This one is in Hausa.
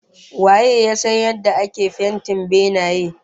Waye ya san yadda ake iya yin fentin benaye?